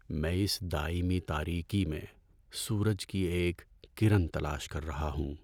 میں اس دائمی تاریکی میں سورج کی ایک کرن تلاش کر رہا ہوں۔